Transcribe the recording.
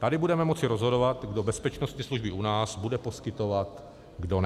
Tady budeme moci rozhodovat, kdo bezpečnostní služby u nás bude poskytovat, kdo ne.